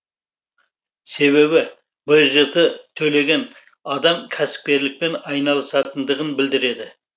себебі бжт төлеген адам кәсіпкерлікпен айналысатындығын білдіреді